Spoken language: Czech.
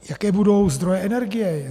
Jaké budou zdroje energie?